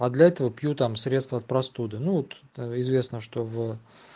а для этого пью там средство от простуды ну вот известно что в